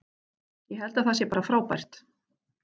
Ég held að það sé bara frábært.